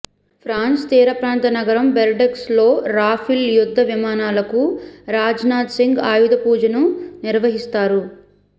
France తీర ప్రాంత నగరం బెర్డెక్స్ లో రాఫెల్ యుద్ధ విమానాలకు రాజ్ నాథ్ సింగ్ ఆయుధ పూజను నిర్వహిస్తారు